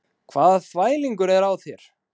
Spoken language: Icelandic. Hvaða þvælingur er á þér?